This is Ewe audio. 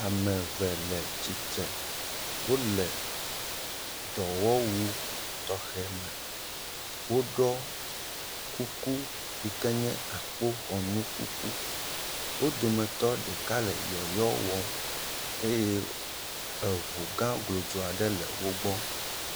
Ame eve le tsitre, wole dɔwɔwu tɔxɛ me, eoɖɔ kuku yike nye akpoxɔnu kuku, wo dometɔ ɖeka le yɔyɔ wɔm eye eŋu gã glodzo aɖe le wo gbɔ.